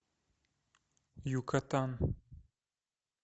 юкатан